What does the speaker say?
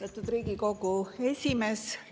Austatud Riigikogu esimees!